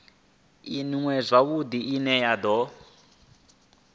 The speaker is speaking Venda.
iṅwe zwavhudi ine ya do